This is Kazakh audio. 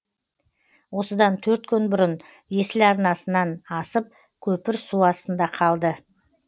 осыдан төрт күн бұрын есіл арнасынан асып көпір су астында қалды